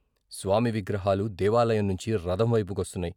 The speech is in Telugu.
స్వామి విగ్రహాలు దేవాలయం నుంచి రథంవైపు కొస్తున్నాయి.